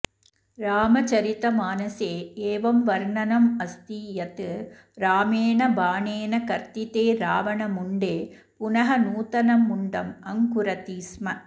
रामचरितमानसे एवं वर्णनमस्ति यत् रामेण बाणेन कर्तिते रावणमुण्डे पुनः नूतनं मुण्डम् अङ्कुरति स्म